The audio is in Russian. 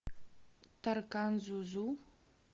таркан жужу